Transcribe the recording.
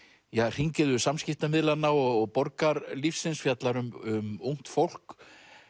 hringiðu samskiptamiðlanna og borgarlífsins fjallar um ungt fólk